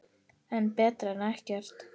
En betra en ekkert.